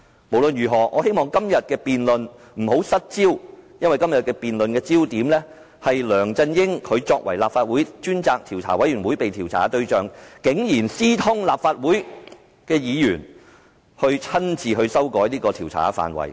無論如何，我希望今天的辯論不要失焦，因為今天辯論的焦點是，梁振英作為立法會專責委員會被調查的對象，竟然私通立法會議員，親自修改調查範圍。